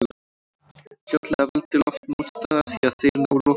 Fljótlega veldur loftmótstaða því að þeir ná lokahraða.